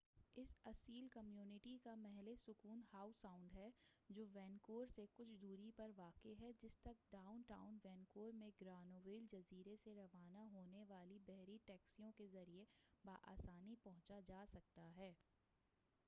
اس اصیل کمیونٹی کا محلِ سکونت ہاؤ ساؤنڈ ہے جو وینکوور سے کچھ دوری پرواقع ہے جس تک ڈاؤن ٹاؤن وینکوور میں گرانویل جزیرہ سے روانہ ہونے والی بحری ٹیکسیوں کے ذریعہ بآسانی پہنچا جا سکتا ہے